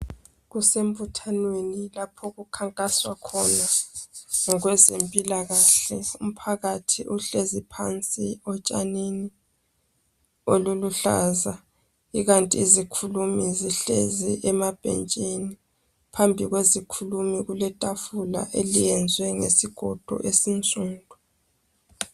Kusemabuthanweni lapha okukhankaswa khona ngokwezempilakahle. Umphakathi uhlezi phansi etshanini oluluhlaza ikanti izikhulumi zihlezi emabhentshini . Phambi kwezikhulumi kuletafula eliyenzwe ngesigodo esinsundu.